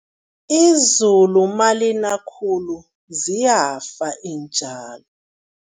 Izulu malina khulu ziyafa iintjalo.